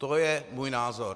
To je můj názor.